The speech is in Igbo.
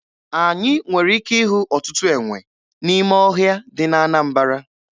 Anyị nwere ike ịhụ ọtụtụ enwe n'ime ọhịa dị na Anambara.